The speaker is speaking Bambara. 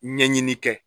Ɲɛɲini kɛ